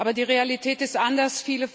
Aber die Realität ist anders.